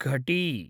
घटी